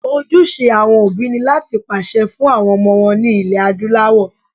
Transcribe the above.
Ojúṣe àwọn òbí ni láti pèsè fún àwọn ọmọ wọn ní ilẹ̀ Adúláwọ̀